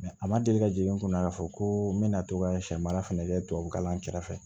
a ma deli ka jigin n kunna k'a fɔ ko n bɛna to ka sɛ mara fɛnɛ kɛ tubabu kalan kɛrɛfɛ